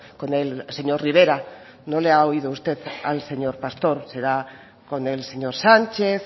con el señor rivera no le ha oído usted al señor pastor será con el señor sánchez